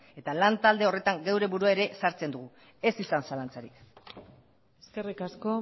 eta lan talde horretan geure burua ere sartzen dugu ez izan zalantzarik eskerrik asko